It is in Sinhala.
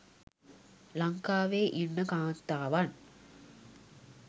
ලංකාවේ ඉන්න කාන්තාවන්